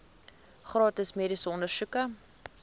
gratis mediese ondersoeke